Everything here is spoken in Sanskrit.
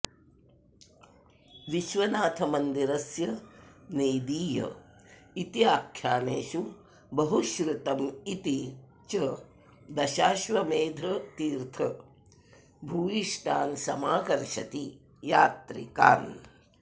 विश्वनाथमन्दिरस्य नेदीय इत्याख्यानेषु बहुश्रुतमिति च दशाश्वमेधतीर्थ भूयिष्ठान्समाकर्षति यात्रिकान्